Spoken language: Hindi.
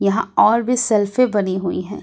यहां और भी सेल्फी बनी हुई है।